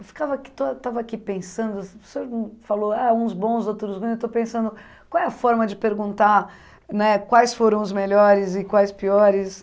Eu ficava aqui estou ah, estava aqui pensando, o senhor falou, ah, uns bons, outros ruins, eu estou pensando, qual é a forma de perguntar né quais foram os melhores e quais piores?